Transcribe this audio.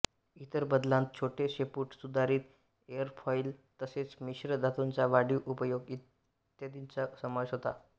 इतर बदलांत छोटे शेपूट सुधारित एरफॉइलतसेच मिश्र धातूंचा वाढीव उपयोग इ चा समावेश होता